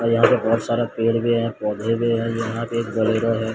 यहां पे बहोत सारा पेड़ भी है पौधे भी हैं यहां पे है।